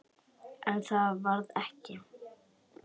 En það varð ekki.